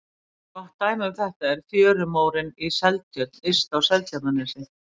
Gott dæmi um þetta er fjörumórinn í Seltjörn yst á Seltjarnarnesi.